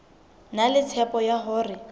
na le tshepo ya hore